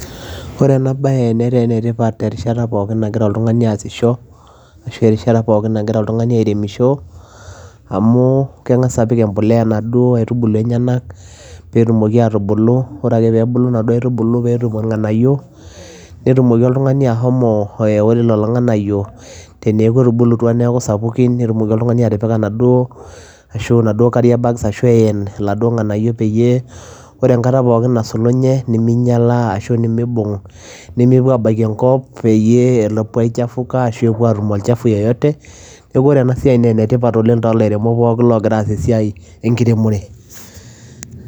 Ore ena bae netaa enetipat egira oltungani aasisho ashu erishata pooki nagira oltungani airemisho amu kengas apuk empuliya duo kaitubulu enyena pee etumoki aatubulu ore pee ebulu naduo oitubulu anoto ilnganayio netumoki oltungani ashomo ooe ore lelo ilnganayio ore lelo nganayio peeku eoto neaku sapuki netumoki oltungani atimira nitumoki atipika naduo carrier bag [cd] ashu etumoki atanapa laduo nganayio peyie, ore ekata pooki nasulunye neminyala naa ashu nemeibung nemepuo aabaiki enkop peyie mepuo aichafuka pee mepuo aatum olchafu yeyote neaku ore ena siai naa enetipat oooleng to lairemok pooki ogira aas esiai ekiremore.